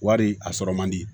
Wari a sɔrɔ man di